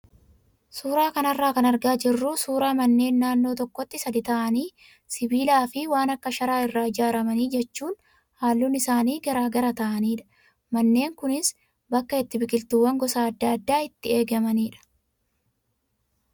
Suuraa kanarraa kan argaa jirru suuraa manneen naannoo tokkotti sadii ta'anii sibiilaa fi waan akka sharaa irraa ijaaraman jechuun halluun isaanii garagara ta'anidha. Manneen kunis bakkee itti biqiltuuwwan gosa adda addaa itti eegamanidha.